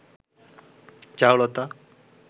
Charulata